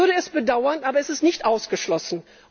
Ich würde es bedauern, aber es ist nicht ausgeschlossen.